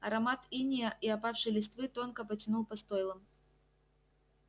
аромат инея и опавшей листвы тонко потянул по стойлам